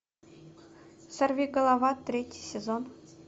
сорвиголова третий сезон